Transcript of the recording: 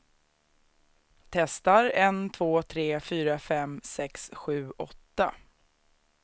Testar en två tre fyra fem sex sju åtta.